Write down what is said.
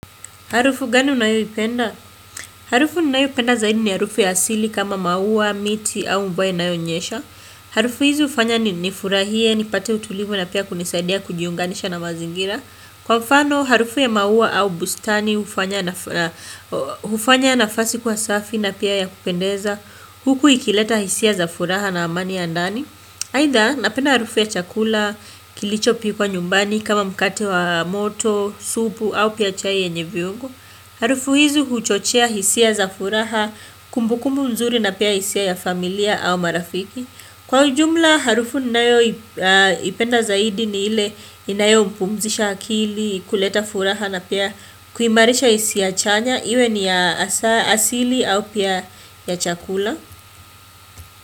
Harufu gani unayoipenda? Harufu ninayoipenda zaidi ni harufu ya asili kama maua, miti au mvua inayonyesha. Harufu hizi hufanya ni nifurahie, nipate utulivu na pia kunisaidia kujiunganisha na mazingira. Kwa mfano, harufu ya maua au bustani hufanya nafasi kuwa safi na pia ya kupendeza. Huku ikileta hisia za furaha na amani ya ndani. Haidha, napenda harufu ya chakula, kilichopikwa nyumbani kama mkate wa moto, supu au pia chai yenye viungo. Harufu hizi huchochea hisia za furaha kumbukumbu mzuri na pia hisia ya familia au marafiki. Kwa ujumla, harufu ninayoipenda zaidi ni ile inayopumzisha akili kuleta furaha na pia kuimarisha hisia chanya, iwe ni ya asili au pia ya chakula.